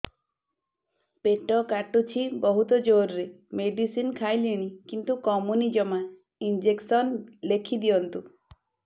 ପେଟ କାଟୁଛି ବହୁତ ଜୋରରେ ମେଡିସିନ ଖାଇଲିଣି କିନ୍ତୁ କମୁନି ଜମା ଇଂଜେକସନ ଲେଖିଦିଅନ୍ତୁ